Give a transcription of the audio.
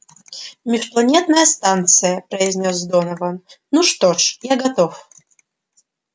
межпланетная станция произнёс донован ну что ж я готов